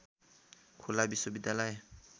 खुल्ला विश्वविद्यालय